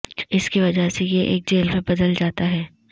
اس کی وجہ سے یہ ایک جیل میں بدل جاتا ہے